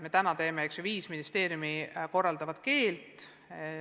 Me teame praegu, et viis ministeeriumi korraldavat keelt.